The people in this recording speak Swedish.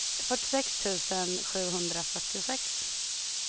fyrtiosex tusen sjuhundrafyrtiosex